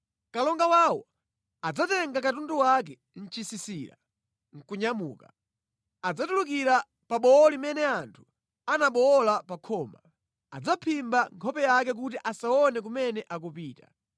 “Kalonga wawo adzatenga katundu wake nʼchisisira nʼkunyamuka. Adzatulukira pa bowo limene anthu anabowola pa khoma. Adzaphimba nkhope yake kuti asaone kumene akupita.